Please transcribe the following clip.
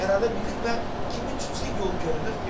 Və kiminsə yol görünür finala.